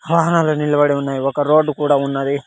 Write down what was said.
వాహనాలు నిలబడి ఉన్నాయి ఒక రోడ్డు కూడా ఉన్నది.